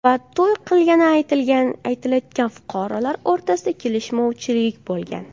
va to‘y qilgani aytilayotgan fuqarolar o‘rtasida kelishmovchilik bo‘lgan.